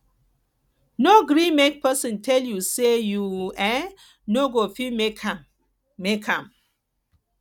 no gree make pesin tell you say you um no go fit make am make am